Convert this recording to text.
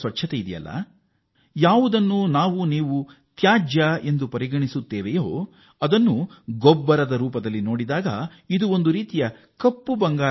ಮತ್ತು ಶೌಚಗುಂಡಿಗಳಿಂದ ತೆಗೆಯಲಾದ ತ್ಯಾಜ್ಯ ಒಂದು ವ್ಯರ್ಥ ಕಸ ಮಾತ್ರ ಆದರೆ ಇದನ್ನು ಗೊಬ್ಬರದ ಬಳಕೆ ರೂಪದಲ್ಲಿ ನೋಡಿದರೆ ಅದು ಒಂದು ಕಪ್ಪು ಬಂಗಾರ